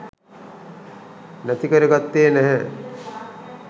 නැති කර ගත්තේ නැහැ.